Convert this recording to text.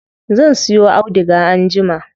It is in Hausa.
Zan siyo auduga anjima.